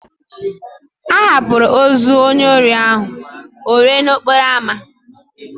A hapụrụ ozu onye ohi ahụ o ree n'okporo amá.